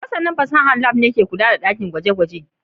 Masanin fasahar Lab ne ke kula da dakin gwaje-gwaje